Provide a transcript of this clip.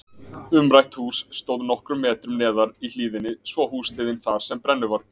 Umrætt hús stóð nokkrum metrum neðar í hlíðinni svo húshliðin þar sem brennuvarg